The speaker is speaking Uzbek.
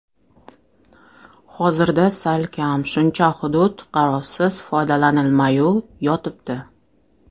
Hozirda salkam shuncha hudud qarovsiz, foydalanilmay yotibdi.